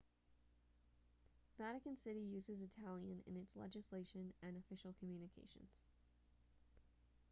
vatican city uses italian in its legislation and official communications